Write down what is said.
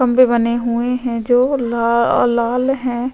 खम्भे बने हुए है जो ल लाल है।